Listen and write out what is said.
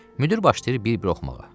Müdir başlayır bir-bir oxumağa.